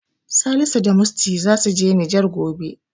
Salisu da Musty zasu je Nijar gobe.